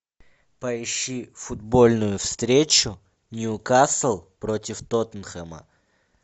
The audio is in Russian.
поищи футбольную встречу ньюкасл против тоттенхэма